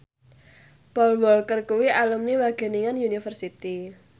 Paul Walker kuwi alumni Wageningen University